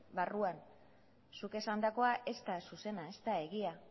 barruan zuk esandakoa ez da zuzena ez da egia